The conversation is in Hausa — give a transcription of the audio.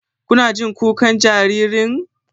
Kuna jin kukan jaririn?